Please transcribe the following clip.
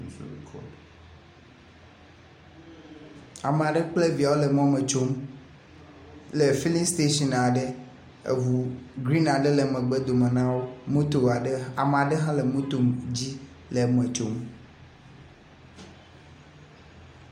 Ame aɖe kple viawo le mɔme tsom le filin station aɖe aŋu grin aɖe le megbedome na wo. Moto aɖe ame aɖe hã le moto dzi le eme tsom.